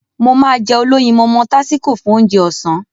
Mo máá jẹ olóyinmọmọ tásíko fún Ounjẹ ọ̀sán